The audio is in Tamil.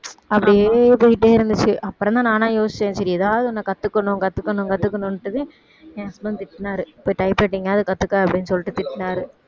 அப்படியே போயிட்டே இருந்துச்சு அப்புறம்தான் நானா யோசிச்சேன் சரி ஏதாவது ஒன்ன கத்துக்கணும் கத்துக்கணும் கத்துக்கணுன்னுட்டுதான் என் husband திட்டினாரு போய் typewriting ஆவது கத்துக்க அப்படின்னு சொல்லிட்டு திட்டினாரு